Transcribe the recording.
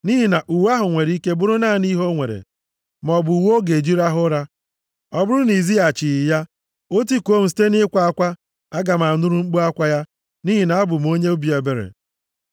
Nʼihi na uwe ahụ nwere ike bụrụ naanị ihe o nwere, maọbụ uwe ọ ga-eji rahụ ụra. Ọ bụrụ na i zighachighị ya, o tikuo m site nʼịkwa akwa, aga m anụrụ mkpu akwa ya, nʼihi na abụ m onye obi ebere.